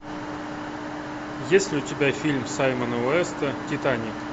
есть ли у тебя фильм саймона уэста титаник